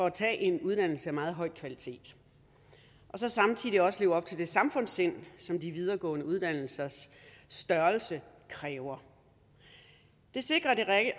at tage en uddannelse af meget høj kvalitet og samtidig også lever op til det samfundssind som de videregående uddannelsers størrelse kræver det sikrer det